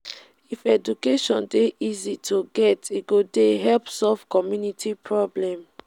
if education dey easy to get e go dey help solve community problem.